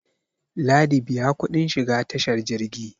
ladi biya kudin shiga tashar jirgi